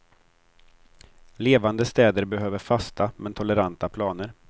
Levande städer behöver fasta, men toleranta, planer.